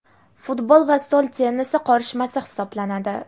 futbol va stol tennisi qorishmasi hisoblanadi.